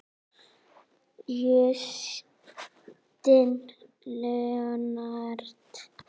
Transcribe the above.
Justin Leonard